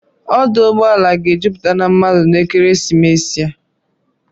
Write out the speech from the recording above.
Ọdụ ụgbọala ga-ejupụta na mmadụ n'ekeresimesi a.